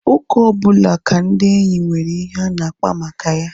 Oge ọbụla ka ndị enyi nwere ihe ha na-akpa maka ya